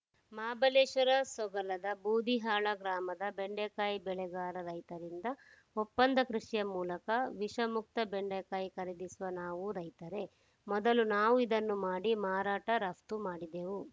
ಮಹಾಬಳೇಶ್ವರ ಸೊಗಲದ ಬೂದಿಹಾಳ ಗ್ರಾಮದ ಬೆಂಡೆಕಾಯಿ ಬೆಳೆಗಾರ ರೈತರಿಂದ ಒಪ್ಪಂದ ಕೃಷಿಯ ಮೂಲಕ ವಿಷಮುಕ್ತ ಬೆಂಡೇಕಾಯಿ ಖರೀದಿಸುವ ನಾವೂ ರೈತರೇ ಮೊದಲು ನಾವು ಇದನ್ನು ಮಾಡಿ ಮಾರಾಟ ರಫ್ತು ಮಾಡಿದೆವು